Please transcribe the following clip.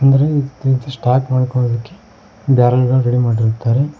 Start ಮಾಡ್ಕೊಳೋದಕ್ಕೆ barrel ಗಳ್ ready ಮಾಡಿರುತ್ತಾರೆ.